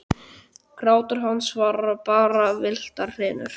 Grátur hans var bara villtar hrinur.